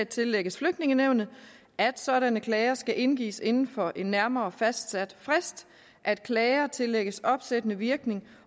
tillægges flygtningenævnet at sådanne klager skal indgives inden for en nærmere fastsat frist at klager tillægges opsættende virkning